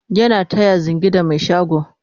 yana taya zingi da Mai shago